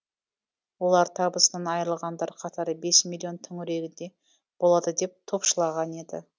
олар табысынан айырылғандар қатары бес миллион төңірегінде болады деп топшылаған еді